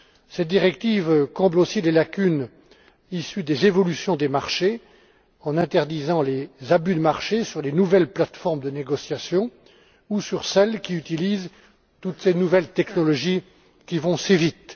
Cette directive comble aussi des lacunes issues des évolutions des marchés en interdisant les abus de marché sur les nouvelles plates formes de négociation ou sur celles qui utilisent toutes ces nouvelles technologies qui vont si vite.